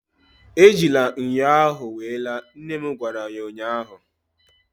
Ejila ṅyọ ahụ wee laa! nne m gwara ya ụnyaahụ